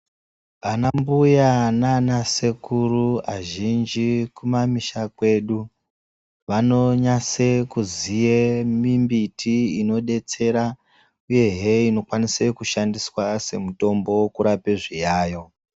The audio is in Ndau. Ana mbuya nanasekuru azhinji kumamisha kwedu vanonyase kuziye mimbiti inobetsera, uyehe inokwanisa kushandiswa semutombo kurape zviyayo.